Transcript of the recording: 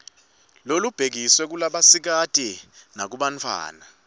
lolubhekiswe kulabasikati nakubantfwana